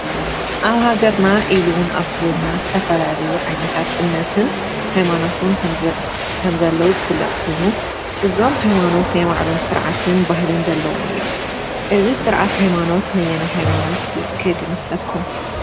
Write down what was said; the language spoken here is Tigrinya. ኣብ ሃገርና ኢሉውን ኣብ ክልልና ዝተፈላልዩ ዓይነታት እምነትን ኃይማኖቱን ከም ዘለዉ ዝፍለጥ ኮይኑ እዞም ኃይማኖት ነይመዕሎም ሥርዓትን ባህልን ዘለዎም እዮም እዝ ሥርዓት ኃይማኖት ነየነ ኃይማኖት ዝውክል ይመስለኩም?